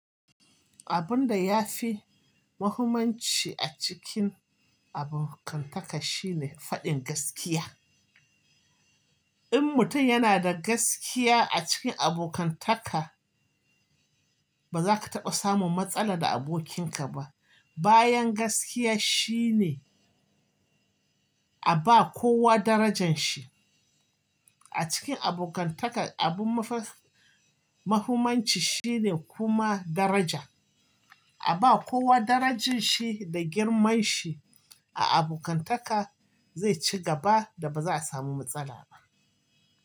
Abun da ya fi mahimmanci a cikin abokantaka shine faɗin gaskiya. In mutum yana da gaskiya a cikin abokantaka, ba za ka taɓa samun matsala da abokinka ba. Bayan gaskiya shine a ba kowa darajan shi. A cikin abokantaka, abun mafar-mahumanci shine kuma daraja. A ba kowa darajan shi da girman shi a abokantaka zai ci gaba da ba za a samu matsala ba.